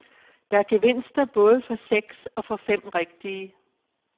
Der er gevinster både for seks og for fem rigtige.